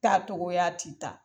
Taa cogoya ti taa